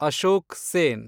Ashok Sen